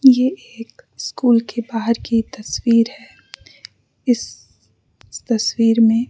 ये एक स्कूल के बाहर की तस्वीर है इस इस तस्वीर में --